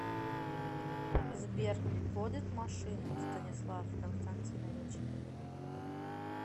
сбер водит машину станислав константинович